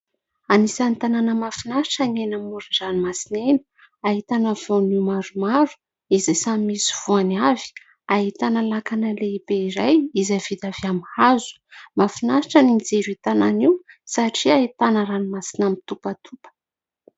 Anisan'ny tanàna mahafinaritra ny eny amoron-dranomasina eny, ahitana voanio maromaro izay samy misy voany avy, ahitana lakana lehibe iray izay vita avy amin'ny hazo. Mahafinaritra ny mijery io tanàna io satria ahitana ranomasina mitopatopa.